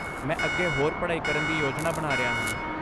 ਮੈਂ ਅੱਗੇ ਹੋਰ ਪੜ੍ਹਾਈ ਕਰਨ ਦੀ ਯੋਜਨਾ ਬਣਾ ਰਿਹਾ ਹਾਂ।